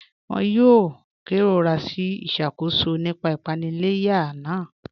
Wọn yòò kẹrọra sí iṣakóṣọ̀ nípa ìpanìlẹ̀yà náà.